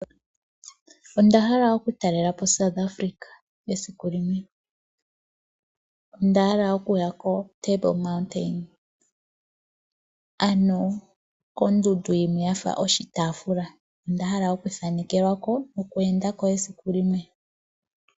Ondahala oku talelapo South Africa esiku limwe. Ondahala oku ya ko Table Mountain, ano kondundu yimwe yafa oshitaafula, onda hala okuthanekelwa ko noku enda ko esiku limwe.